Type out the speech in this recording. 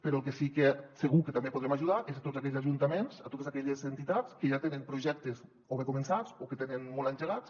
però al que sí que segur que també podrem ajudar és a tots aquells ajuntaments a totes aquelles entitats que ja tenen projectes o bé començats o que tenen molt engegats